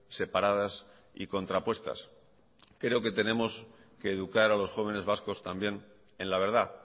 separadas y contrapuestas creo que tenemos que educar a los jóvenes vascos también en la verdad